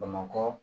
Bamakɔ